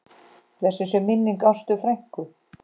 Blessuð sé minning Ástu frænku.